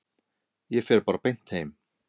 Ég fer bara beint heim.